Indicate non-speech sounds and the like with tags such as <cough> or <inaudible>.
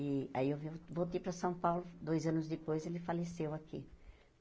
E aí eu <unintelligible> voltei para São Paulo, dois anos depois ele faleceu aqui.